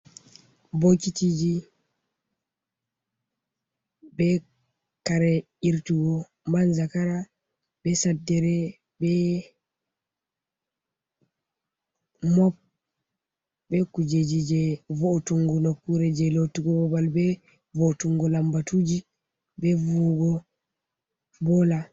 Bokitiji be kare irtugo man zakara, be saddere, mop be kujeji je vo’tungu nokkure je lotugo babal, be vo’otungu lambatuji, be vuwugo bola.